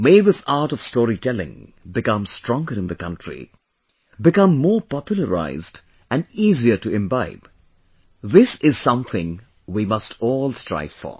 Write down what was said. May this art of storytelling become stronger in the country, become more popularized and easier to imbibe This is something we must all strive for